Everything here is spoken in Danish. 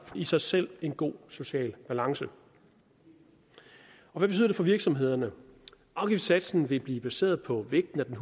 i sig selv en god social balance hvad betyder det for virksomhederne afgiftssatsen vil blive baseret på vægten af